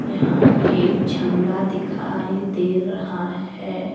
यहां एक झंडा दिखाई दे रहा है।